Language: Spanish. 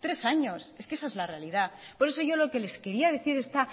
tres años es que esa es la realidad por eso yo lo que les quería decir esta